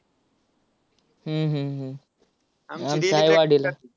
हम्म हम्म हम्म हाय वाडीला.